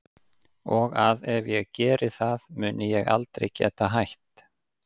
Og að ef ég geri það muni ég aldrei geta hætt.